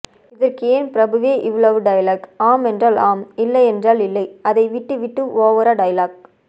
இதற்கு ஏன் பிரபுவே இவ்வளவு டயலக் ஆமென்றால் ஆம் இல்லை என்றால் இல்லை அதை விட்டு விட்டு ஓவரா டயலக்